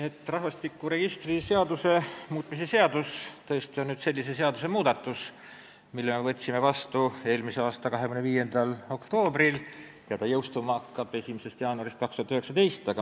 See rahvastikuregistri seaduse muutmise seaduse eelnõu tähendab tõesti selle seaduse muutmist, mille me võtsime vastu eelmise aasta 25. oktoobril ja mis pidi jõustuma 1. jaanuaril 2019.